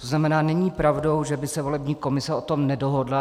To znamená, není pravdou, že by se volební komise o tom nedohodla.